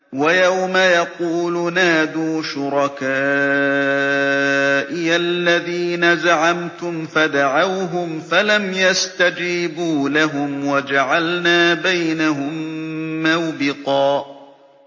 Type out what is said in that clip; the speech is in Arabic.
وَيَوْمَ يَقُولُ نَادُوا شُرَكَائِيَ الَّذِينَ زَعَمْتُمْ فَدَعَوْهُمْ فَلَمْ يَسْتَجِيبُوا لَهُمْ وَجَعَلْنَا بَيْنَهُم مَّوْبِقًا